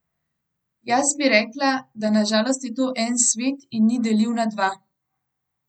Jaz bi rekla, da na žalost je to en svet in ni deljiv na dva.